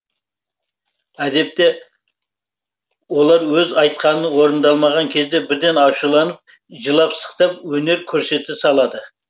әдетте олар өз айтқаны орындалмаған кезде бірден ашуланып жылап сықтап өнер көрсете салады